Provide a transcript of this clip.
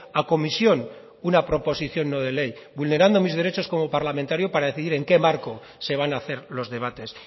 a comisión una proposición no de ley vulnerando mis derechos como parlamentario para decidir en qué marco se van a hacer los debates